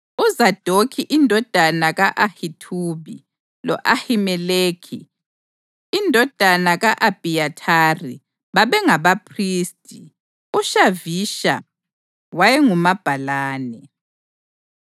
uZadokhi indodana ka-Ahithubi lo-Ahimeleki indodana ka-Abhiyathari babengabaphristi; uShavisha wayengumabhalane;